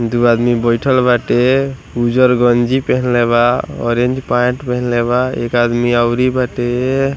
दू आदमी बइठल बाटे उज़र गंजी पहनले बा ऑरेंज पैंट पहनले बा एक आदमी अउरी बाटे।